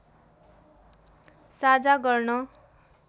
साझा गर्न